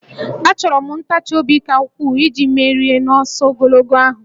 Achọrọ m ntachi obi ka ukwuu iji merie n'ọsọ ogologo ahụ